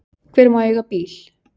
Hver má eiga bíl?